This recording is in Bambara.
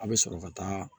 A bɛ sɔrɔ ka taa